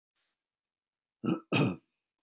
Á bara að farga Halldóri?